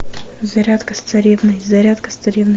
зарядка с царевной зарядка с царевной